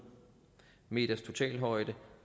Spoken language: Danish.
meters totalhøjde